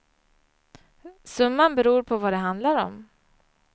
Summan beror på vad det handlar om.